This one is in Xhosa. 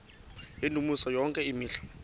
yendumiso yonke imihla